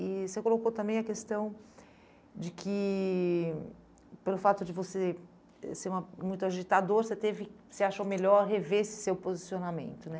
E você colocou também a questão de que, pelo fato de você ser uma muito agitador, você teve você achou melhor rever esse seu posicionamento, né?